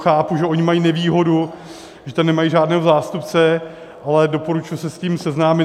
Chápu, že oni mají nevýhodu, že tam nemají žádného zástupce, ale doporučuji se s tím seznámit.